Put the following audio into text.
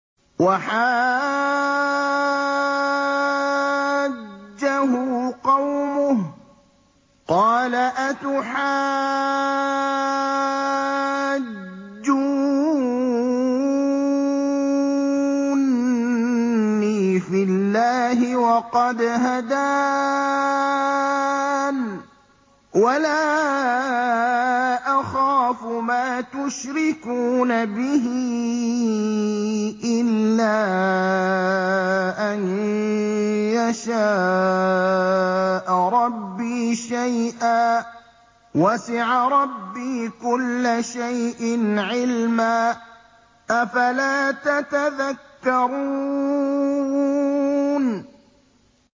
وَحَاجَّهُ قَوْمُهُ ۚ قَالَ أَتُحَاجُّونِّي فِي اللَّهِ وَقَدْ هَدَانِ ۚ وَلَا أَخَافُ مَا تُشْرِكُونَ بِهِ إِلَّا أَن يَشَاءَ رَبِّي شَيْئًا ۗ وَسِعَ رَبِّي كُلَّ شَيْءٍ عِلْمًا ۗ أَفَلَا تَتَذَكَّرُونَ